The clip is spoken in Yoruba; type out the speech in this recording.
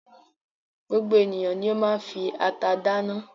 Gbogbo ènìyàn ni ó máa ń fi ata dáná.